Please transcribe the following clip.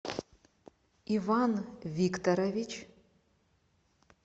иван викторович